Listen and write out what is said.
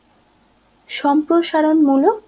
সম্প্রসারণমূলক